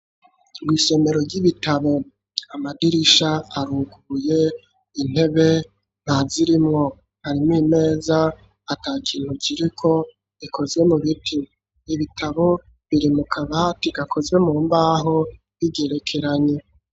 Mw'isomero ry'ibitabo amadirisha aruguye, intebe ntazirimwo. Harimwo imeza atakintu kiriko ikozwe mu biti. Ibitabo biri mu kabati gakozwe mu mbaho bigerekeranye.